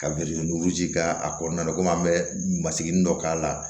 Ka birinti duuru ci k'a kɔnɔna la komi an bɛ masigi dɔ k'a la